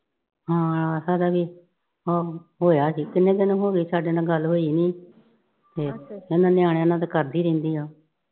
ਹਾਂ ਹਲ਼ੇ ਵੀ ਅਹ ਹੋਇਆ ਠੀਕ ਨਈਂ ਕਿੰਨੇ ਦਿਨ ਹੋ ਗਏ। ਸਾਡੇ ਨਾਲ ਗੱਲ ਹੋਈ ਨਈਂ ਤੇ ਇਨ੍ਹਾਂ ਨਿਆਣਿਆਂ ਨਾਲ ਤਾਂ ਕਰਦੀ ਰਹਿੰਦੀ ਆ।